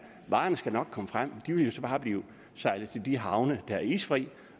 at varerne skal nok komme frem de vil jo så bare blive sejlet til de havne der er isfri